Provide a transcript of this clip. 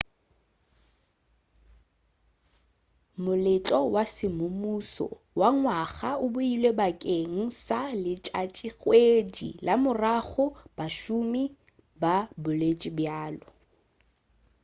moletlo wa semmušo wa ngwaga o beilwe bakeng sa letšatšikgwedi la morago bašomi ba boletše bjalo